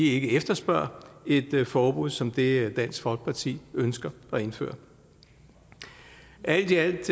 ikke efterspørger et forbud som det dansk folkeparti ønsker at indføre alt i alt